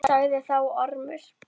Sagði þá Ormur